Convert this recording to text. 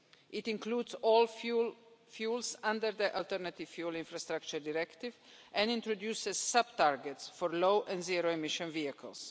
It includes all fuels under the Alternative Fuels Infrastructure Directive and introduces sub targets for low-and zero-emission vehicles.